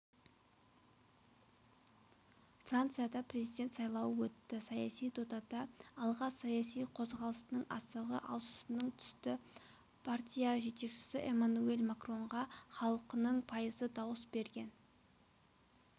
францияда президент сайлауы өтті саяси додада алға саяси қозғалысының асығы алшысынан түсті партия жетекшісі эммануэль макронға халықтың пайызы дауыс берген